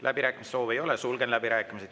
Läbirääkimiste soovi ei ole, sulgen läbirääkimised.